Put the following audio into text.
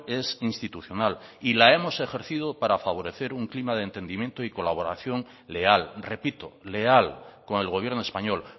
es institucional y la hemos ejercido para favorecer un clima de entendimiento y colaboración leal repito leal con el gobierno español